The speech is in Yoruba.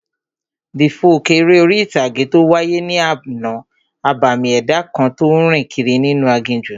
The folk eré orí-ìtàgé tó wáyé ní àná, abàmì ẹ̀dá kan tó n rìn kiri inú aginjù